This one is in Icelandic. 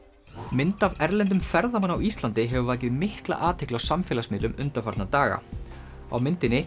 mynd af erlendum ferðamanni á Íslandi hefur vakið mikla athygli á samfélagsmiðlum undanfarna daga á myndinni